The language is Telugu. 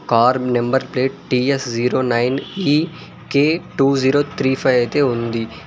Car number plate T S zero nine కి K two zero three five అయితే ఉంది.